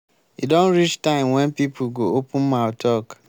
e don reach time wen people go open mouth talk.